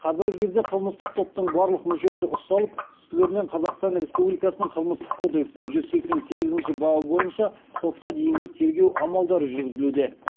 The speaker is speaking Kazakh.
қазіргі кезде қылмыстық топтың барлық мүшесі ұсталып үстілерінен қазақстан республикасының қылмыстық кодексінің жүз сексен сегізінші бабы бойынша сотқа дейінгі тергеу амалдары жүргізілуде